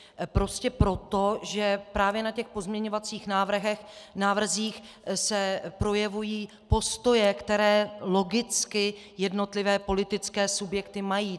Prostě proto, že právě na těch pozměňovacích návrzích se projevují postoje, které logicky jednotlivé politické subjekty mají.